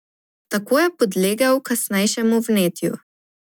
Tako je podlegel kasnejšemu vnetju.